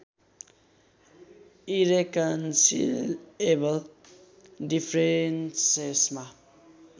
irreconcilable डिफ्रेन्सेसमा